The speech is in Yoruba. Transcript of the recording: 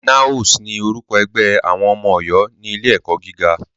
NAOS ni orúkọ ẹgbẹ́ àwọn ọmọ Ọ̀yọ́ ní ilé ẹ̀kọ́ gíga.